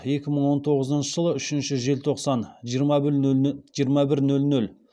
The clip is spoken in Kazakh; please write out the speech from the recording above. екі мың он тоғызыншы жылы үшінші желтоқсан жиырма бір нөл нөл